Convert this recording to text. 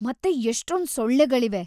ಮತ್ತೆ ಎಷ್ಟೊಂದ್‌ ಸೊಳ್ಳೆಗಳಿವೆ.